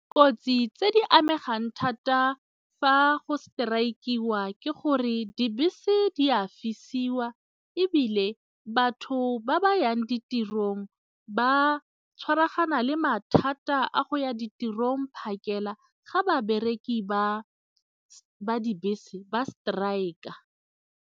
Kotsi tse di amegang thata fa go strike-iwa ke gore dibese di a fisiwa ebile batho ba ba yang ditirong ba tshwaragane le mathata a go ya ditirong phakela ga babereki ba dibese ba strike-a.